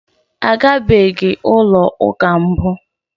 A gabeghị ụlọ ụka mbụ.